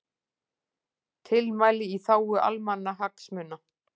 Tilmæli í þágu almannahagsmuna